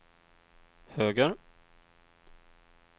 höger